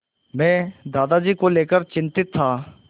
मैं दादाजी को लेकर चिंतित था